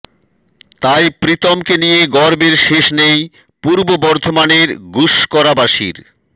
তাই প্রীতমকে নিয়ে গর্বের শেষ নেই পূর্ব বর্ধমানের গুসকরাবাসীর